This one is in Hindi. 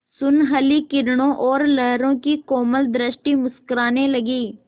सुनहली किरणों और लहरों की कोमल सृष्टि मुस्कराने लगी